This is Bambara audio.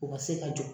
U ka se ka jɔ